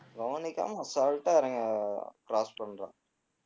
கவனிக்காம அசால்டா இறங்குறான் cross பண்றான்